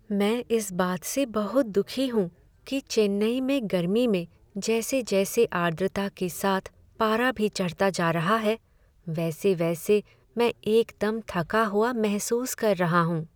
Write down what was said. मैं इस बात से बहुत दुखी हूँ कि चेन्नई में गर्मी में जैसे जैसे आर्द्रता के साथ पारा भी चढ़ता जा रहा है, वैसे वैसे मैं एकदम थका हुआ महसूस कर रहा हूं।